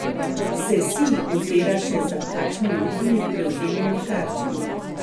Se Sij ozira še za kakšnimi drugimi prevzemnimi tarčami?